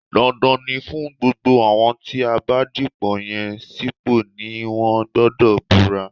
Dandan ni fún gbogbo àwọn tí a bá dìpò yàn sípò ni wọ́n gbọdọ̀ búra